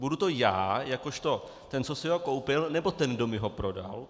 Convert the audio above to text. Budu to já jakožto ten, co si ho koupil, nebo ten, kdo mi ho prodal?